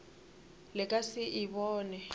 le ka se e bone